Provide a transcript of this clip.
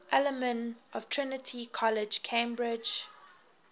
alumni of trinity college cambridge